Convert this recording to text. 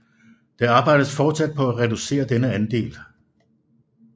Det arbejdes fortsat på at reducere denne andel